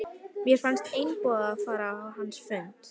Mér fannst einboðið að fara á hans fund.